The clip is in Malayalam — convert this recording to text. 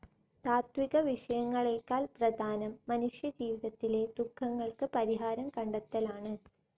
താത്വികവിഷയങ്ങളേക്കാൾ പ്രധാനം മനുഷ്യജീവിതത്തിലെ ദുഃഖങ്ങൾക്കു പരിഹാരം കണ്ടെത്തലാണ്.